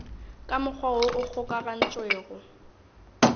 ka mokgwa woo o kgokagantšwego